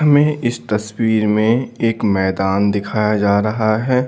हमें इस तस्वीर में एक मैदान दिखाया जा रहा है।